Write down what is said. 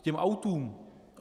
K těm autům.